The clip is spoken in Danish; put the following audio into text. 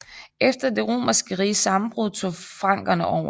Efter det romerske riges sammenbrud tog frankerne over